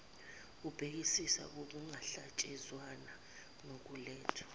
ebhekisisa ukuhlangatshezwana nokulethwa